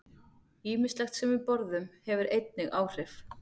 Ýmislegt sem við borðum hefur einnig áhrif.